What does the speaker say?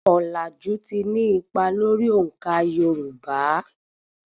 Ọ̀làjù ti ní ipa lórí òǹkà Yorùbá.